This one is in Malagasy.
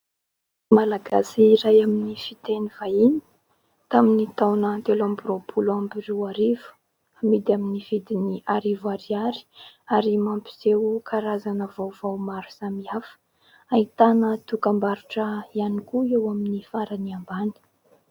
Malagasy iray amin'ny fiteny vahiny tamin'ny taona telo amby roapolo amby roarivo, amidy amin'ny vidiny arivo ariary ary mampiseho karazana vaovao maro samihafa. Ahitana dokam-barotra ihany koa eo amin'ny farany ambany.